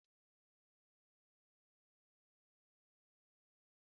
Akụkọ ifo ahụ ọkọrọ adịghị m mma